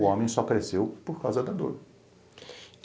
O homem só cresceu por causa da dor.